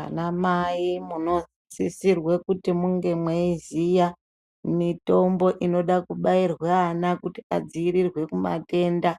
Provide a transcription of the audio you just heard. Anamai munosisirwe kuti munge mweiziya mitombo inoda kubairwe ana kuti adziirirwe kumatenda